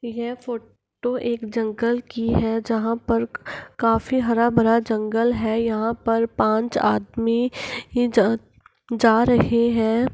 ये photo एक जंगल की है । जहाँ पर काफी सारा हरा-भरा जंगल है । यहाँ पाँच आदमी ही जा रहे है ।